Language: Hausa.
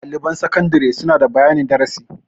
Ɗaliban sakandare suna da bayanin darasi.